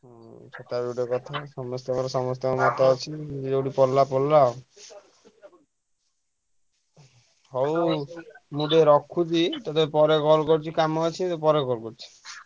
ହଁ ସେଟା ବି ଗୋଟେ କଥା। ସମସ୍ତଙ୍କର ସମସ୍ତଙ୍କ ହାତ ଅଛି ଯିଏ ଯୋଉଠି ପଢିଲା ପଢିଲା ଆଉ ହଉ ମୁଁ ଟିକେ ରଖୁଛି ଟିକେ ପରେ call କରୁଛି କାମ ଅଛି ମୁଁ ପରେ call କରୁଛି।